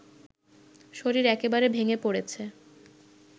শরীর একেবারে ভেঙে পড়েছে